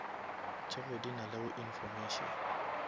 tšeo di nalego information